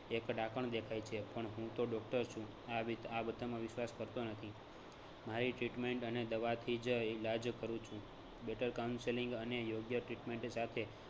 એક ડાકણ દેખાય છે. પણ હું તો doctor છું આ વિ બધામાં વિશ્વાસ કરતો નથી. મારી treatment અને દવાથી જ ઈલાજ કરું છું. better counselling અને યોગ્ય treatment સાથે